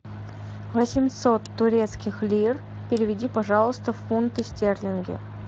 восемьсот турецких лир переведи пожалуйста в фунты стерлинги